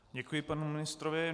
Děkuji panu ministrovi.